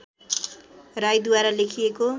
राईद्वारा लेखिएको